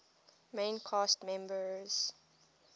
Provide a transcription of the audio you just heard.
main cast members